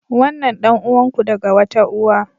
Wannan ɗan'uwan ku daga wata uwa.